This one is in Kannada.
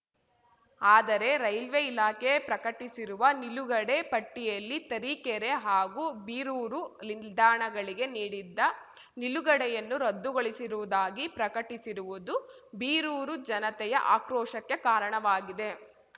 ಆದರೆ ರೈಲ್ವೆ ಇಲಾಖೆ ಪ್ರಕಟಿಸಿರುವ ನಿಲುಗಡೆ ಪಟ್ಟಿಯಲ್ಲಿ ತರೀಕೆರೆ ಹಾಗೂ ಬೀರೂರು ನಿಲ್ದಾಣಗಳಿಗೆ ನೀಡಿದ್ದ ನಿಲುಗಡೆಯನ್ನು ರದ್ದುಗೊಳಿಸಿರುವುದಾಗಿ ಪ್ರಕಟಿಸಿರುವುದು ಬೀರೂರು ಜನತೆಯ ಆಕ್ರೋಶಕ್ಕೆ ಕಾರಣವಾಗಿದೆ